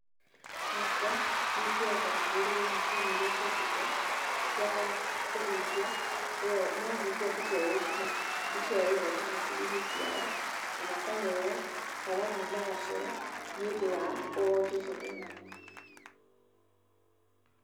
Hakwa ndingienda magũrĩrwo macini iria ciũkĩte cia kũhutia, mahutia mbica ĩo, mbica ĩo ĩgoka hakiri-inĩ ciao na makaheo karamu magacora, nĩ ũndũ wa wonje ũcio me naguo.